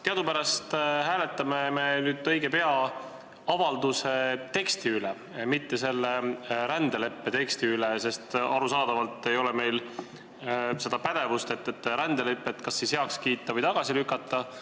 Teadupärast hääletame me nüüd õige pea avalduse teksti üle – mitte selle rändeleppe teksti üle, sest arusaadavalt ei ole meil pädevust rändelepet kas heaks kiita või tagasi lükata.